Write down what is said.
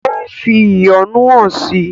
Ó fi ìyọ́nú hàn si.